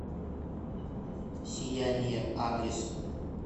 сияние адрес